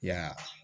Ya